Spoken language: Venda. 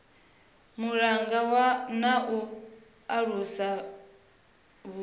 vhulunga na u alusa vhuḓi